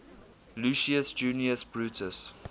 lucius junius brutus